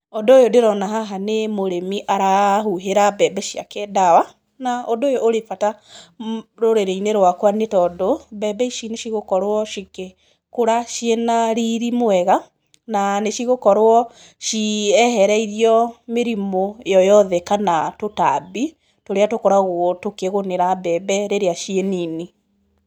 Ũndũ ũyũ ndĩrona haha nĩ mũrĩmi arahuhĩra mbembe ciake ndawa, na ũndũ ũyũ ũrĩ bata rũrĩrĩ-inĩ rwakwa nĩ tondũ, mbembe ici nĩ cigũkorwo cikĩkũra ciĩna riri mwega, na nĩ cigũkorwo ciehereirio mĩrimũ yoyothe kana tũtambi tũrĩa tũkoragwo tũkĩgũmĩra mbembe rĩrĩa ciĩ nini.